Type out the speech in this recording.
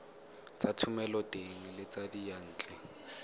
tsa thomeloteng le tsa diyantle